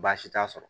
Baasi t'a sɔrɔ